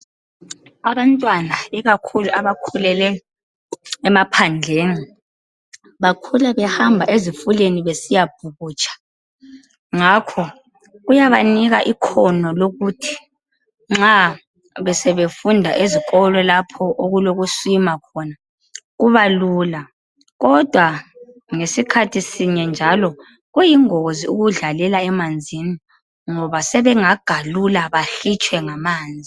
Abantwana ikakhulu abakhulele emaphandleni bakhula behamba ezifuleni besiyabhukutsha ngakho kuyabanika ikhono lokuthi nxa sebefunda esikolo lapho okuloku swimmer khona kuba lula kodwa ngesikhathi sinye njalo kuyingozi ukudlalela emanzini ngoba sebengagalula bahitshwe ngamanzi .